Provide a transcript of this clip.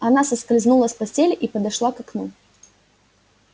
она соскользнула с постели и подошла к окну